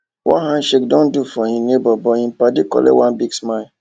one handshake don do for him neighbor but him paddy collect one big smile